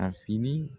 A fini